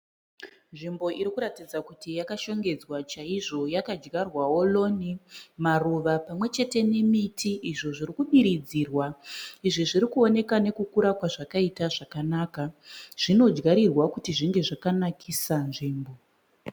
Nzimbo irikuratidza kuti yakashongedzwa chaizvo yakadyarwawo roni, maruva pamwe chete nemiti izvo zvirikudiridzirwa. Izvi zviri kuwoneka nekukura kwazvakaita zvakanaka. Zvinodyarirwa kuti zvinge zvakanakisa nzvimbo.